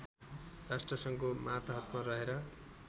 राष्ट्रसङ्घको मातहतमा रहेर